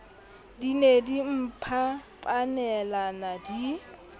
di ne di mphapanelana di